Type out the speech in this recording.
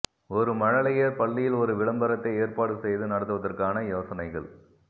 ஒரு மழலையர் பள்ளியில் ஒரு விளம்பரத்தை ஏற்பாடு செய்து நடத்துவதற்கான யோசனைகள்